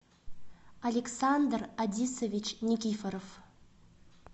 александр адисович никифоров